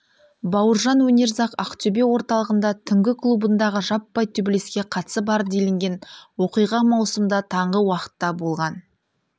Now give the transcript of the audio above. бауыржан өнерзақ ақтөбе орталығында түнгі клубындағы жаппай төбелеске қатысы бар делінген оқиға маусымда таңғы уақытта болған